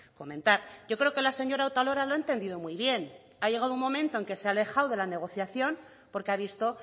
comentar yo creo que la señora otalora lo ha entendido muy bien ha llegado un momento en que se ha alejado de la negociación porque ha visto